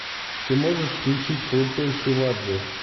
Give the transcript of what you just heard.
ты можешь включить крутой шиваджи